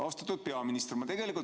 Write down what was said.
Austatud peaminister!